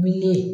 Miliyɔn